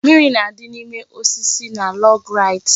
Mimiri na-adị n'ime osisi na log rides